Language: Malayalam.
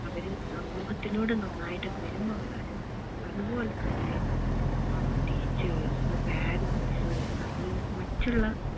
അവര് സമൂഹത്തിനോട് നന്നായിട്ട് പെരുമാറാനും അതുപോലെ തന്നെ ഏർ teachers parents അല്ലെങ്കിൽ മറ്റുള്ള